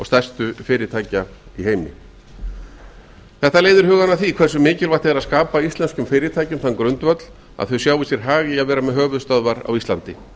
stærstu fyrirtækja í heimi þetta leiðir hugann að því hversu mikilvægt er að skapa íslensku fyrirtækjum þann grundvöll að þau sjái ár hag í að vera með höfuðstöðvar á íslandi